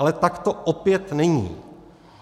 Ale tak to opět není!